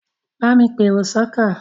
Bámi pèrò sọ́kọ̀!